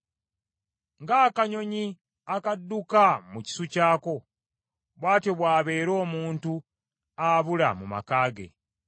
Ng’akanyonyi akadduka mu kisu kyako, bw’atyo bw’abeera omuntu abula mu maka ge.